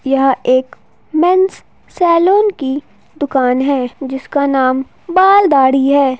यह एक men's salon की दुकान हैं जिसका नाम बाल दाढ़ी है।